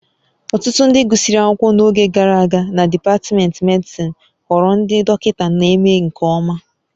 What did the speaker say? Ọtụtụ ndị gụsịrị akwụkwọ n'oge gara aga na dipatmentị medịsịn ghọrọ ndị dọkịta na-eme nke ọma